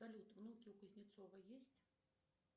салют внуки у кузнецова есть